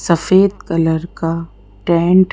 सफेद कलर का टेंट --